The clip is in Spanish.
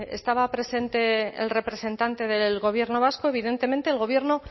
estaba presente el representante del gobierno vasco evidentemente el gobierno